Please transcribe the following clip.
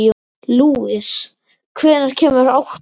Lúis, hvenær kemur áttan?